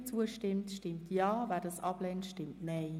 Wer diese annimmt, stimmt Ja, wer diese ablehnt, stimmt Nein.